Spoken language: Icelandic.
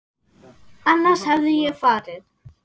Annars hefði ég farið.